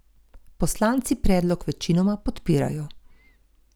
Poslanci predlog večinoma podpirajo.